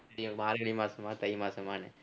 இது என்ன மார்கழி மாசமா தை மாசமான்னு